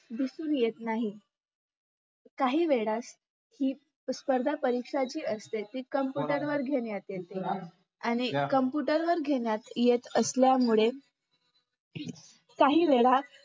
दिसुन येत नाहीत काहीवेळास ही स्पर्धापरीक्षा जी असते ती computer वर घेण्यात येते आणि computer घेण्यात येत असल्यांमुळे काहीवेळा